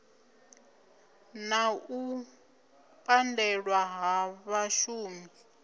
na u pandelwa ha vhashumi